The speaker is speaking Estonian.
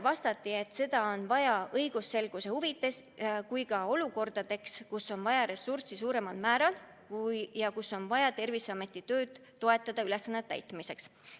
Vastati, et seda on vaja õigusselguse huvides ja teatud olukordades on vaja ressurssi suuremal määral, et toetada Terviseametit tema ülesannete täitmisel.